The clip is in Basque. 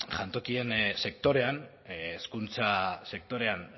jantokien sektorean hezkuntza sektorean